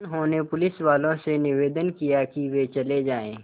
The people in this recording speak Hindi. उन्होंने पुलिसवालों से निवेदन किया कि वे चले जाएँ